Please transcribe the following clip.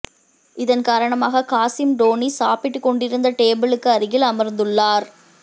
இதன் காரணமாக காசிம் டோனி சாப்பிட்டு கொண்டிருந்த டேபிளுக்கு அருகில் அமர்ந்துள்ளார்